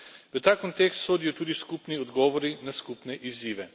V ta kontekst sodijo tudi skupni odgovori na skupne izzive.